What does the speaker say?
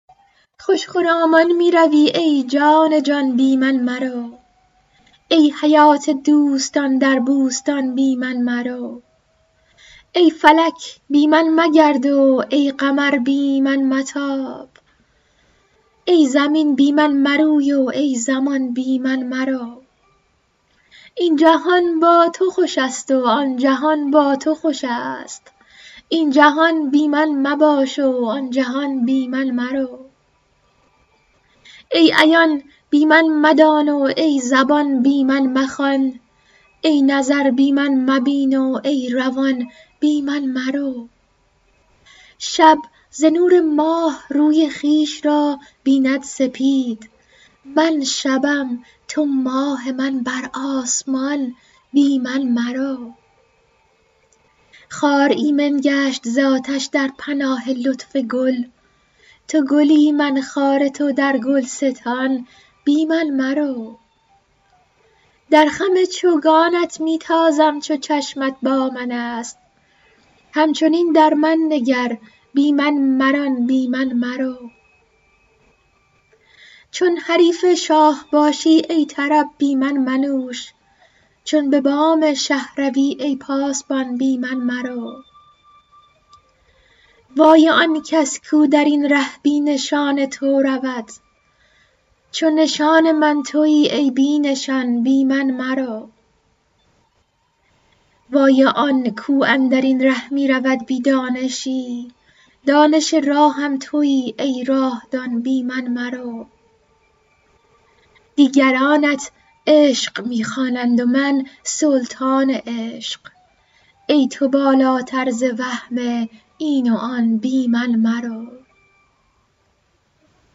خوش خرامان می روی ای جان جان بی من مرو ای حیات دوستان در بوستان بی من مرو ای فلک بی من مگرد و ای قمر بی من متاب ای زمین بی من مروی و ای زمان بی من مرو این جهان با تو خوش است و آن جهان با تو خوش است این جهان بی من مباش و آن جهان بی من مرو ای عیان بی من مدان و ای زبان بی من مخوان ای نظر بی من مبین و ای روان بی من مرو شب ز نور ماه روی خویش را بیند سپید من شبم تو ماه من بر آسمان بی من مرو خار ایمن گشت ز آتش در پناه لطف گل تو گلی من خار تو در گلستان بی من مرو در خم چوگانت می تازم چو چشمت با من است همچنین در من نگر بی من مران بی من مرو چون حریف شاه باشی ای طرب بی من منوش چون به بام شه روی ای پاسبان بی من مرو وای آن کس کو در این ره بی نشان تو رود چو نشان من توی ای بی نشان بی من مرو وای آن کو اندر این ره می رود بی دانشی دانش راهم توی ای راه دان بی من مرو دیگرانت عشق می خوانند و من سلطان عشق ای تو بالاتر ز وهم این و آن بی من مرو